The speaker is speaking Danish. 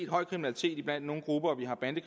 høj kriminalitet blandt nogle grupper